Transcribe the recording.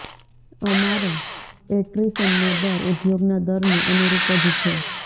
અમારો એટ્રિશનનો દર ઉદ્યોગના દરને અનુરૂપ જ છે